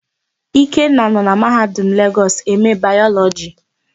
Ikenna nọ na Mahadum Legọs eme Bayọlọjị.